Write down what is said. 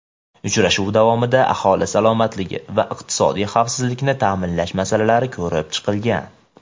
Uchrashuv davomida aholi salomatligi va iqtisodiy xavfsizlikni ta’minlash masalalari ko‘rib chiqilgan.